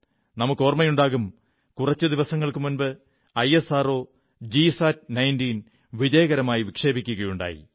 നമുക്കോർമ്മയുണ്ടാകും കുറച്ചു ദിവസങ്ങൾക്കു മുമ്പ് ഐഎസ്ആർഓ ജിസാറ്റ് 19 വിജയകരമായി വിക്ഷേപിക്കുകയുണ്ടായി